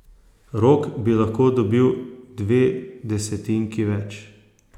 Rok bi lahko dobil dve desetinki več.